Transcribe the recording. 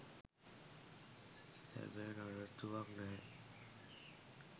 හැබැයි නඩත්තුවක් නැහැ.